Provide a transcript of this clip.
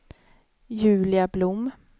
Julia Blom